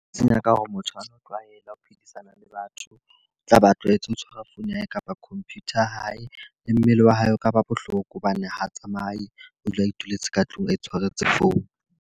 Senya ka hore motho ona o tlwaela ho phedisana le batho. Tla be a tlwaetse ho tshwara phone ya hae kapa computer ya hae. Le mmele wa hae o ka ba bohloko hobane ha o tsamaye o dula a ituletse ka tlung a tshwaretse phone.